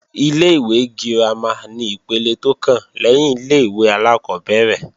Ilé-ìwé girama ni ipele tó kàn lẹ́yìn ilé-ìwé alákọ́bẹ̀rẹ̀